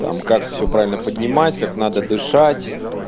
там как всё правильно поднимать как надо дышать